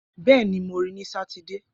Bẹẹni, Mo ri i ni Satidee